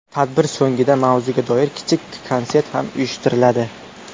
Tadbir so‘ngida mavzuga doir kichik konsert ham uyushtiriladi.